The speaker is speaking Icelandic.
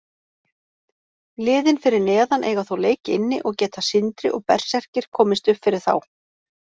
Liðin fyrir neðan eiga þó leik inni og geta Sindri og Berserkir komist uppfyrir þá.